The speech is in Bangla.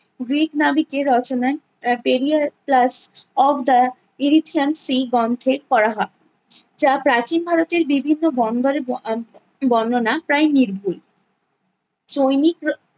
গ্রিক নাবিকের রচনায় আহ Periplus of the Erythraean Sea গন্থে করা হয়। যা প্রাচীন ভারতের বিভিন্ন বন্দরে বা~ আহ বন্দনা প্রায় নির্ভুল। চৈনিক